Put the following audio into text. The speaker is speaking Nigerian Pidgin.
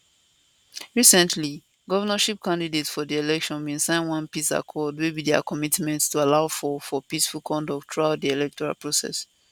recently govnorship candidates for di election bin sign one peace accord wey be dia commitment to allow for for peaceful conduct throughout di electoral process